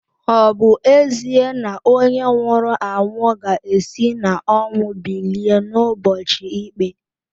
Ọ̀ bu ezie na onye nwuru anwu ga esi n'ọnwu bilie n'ubọchi ikpé?